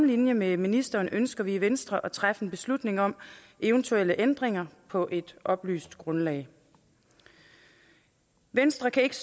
linje med ministeren ønsker vi i venstre at træffe en beslutning om eventuelle ændringer på et oplyst grundlag venstre kan ikke